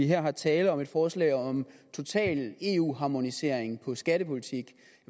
her er tale om et forslag om total eu harmonisering af en skattepolitik